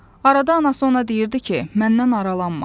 Arada anası ona deyirdi ki, məndən aralanma.